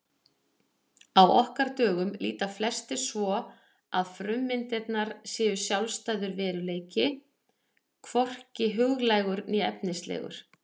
Á okkar dögum líta flestir svo að frummyndirnar séu sjálfstæður veruleiki, hvorki huglægur né efnislegur.